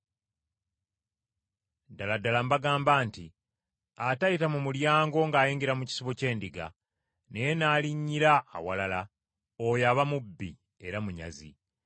“Ddala ddala mbagamba nti atayita mu mulyango ng’ayingira mu kisibo ky’endiga, naye n’alinnyira awalala, oyo aba mubbi era munyazi.